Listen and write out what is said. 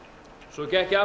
svo gekk ég